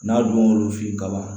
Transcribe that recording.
N'a don l'olu fe ye kaban